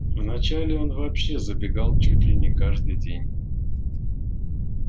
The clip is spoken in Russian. вначале он вообще забегал чуть ли не каждый день